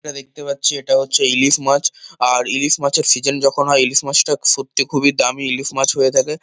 যেটা দেখতে পাচ্ছি এটা হচ্ছে ইলিশ মাছ। আর ইলিশ মাছের সিজেন যখন হয় ইলিশ মাছটা সত্যি খুবই দামী ইলিশ মাছ হয়ে থাকে।